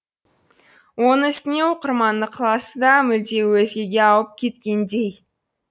оның үстіне оқырманның ықыласы да мүлде өзгеге ауып кеткендей